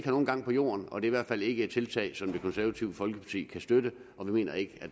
har nogen gang på jorden og det er i hvert fald ikke et tiltag som det konservative folkeparti kan støtte vi mener ikke